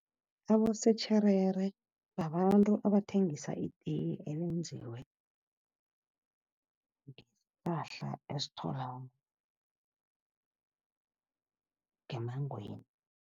Abosotjherere babantu abathengisa itiye elenziwe ngesihlahla esitholakala ngemmangweni.